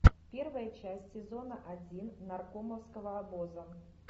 первая часть сезона один наркомовского обоза